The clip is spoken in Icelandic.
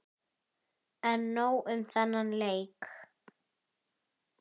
En nóg um þennan leik.